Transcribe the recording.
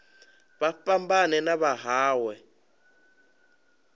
vha fhambane na vha mawe